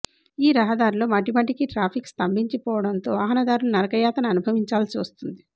ఈ రహదారిలో మాటి మాటికి ట్రాఫిక్ స్తంభించి పోవడంతో వాహనదారులు నరకయాతన అనుభవించాల్సి వస్తోంది